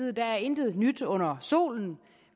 er der intet nyt under solen